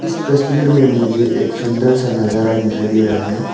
तस्वीर में मुझे एक सुंदर सा नजारा दिखाई दे रहा है।